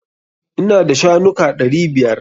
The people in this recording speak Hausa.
Ina da shanuka ɗari biyar.